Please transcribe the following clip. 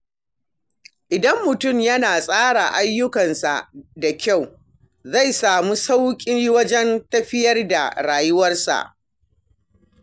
Idan mutum yana tsara ayyukansa da kyau, zai sami sauƙi wajen tafiyar da rayuwa.